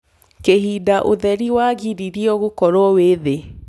kihindaũtherĩ wagiriirwo gũkorwo wi thii